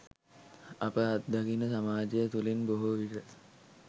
අප අත්දකින සමාජය තුළින් බොහෝ විට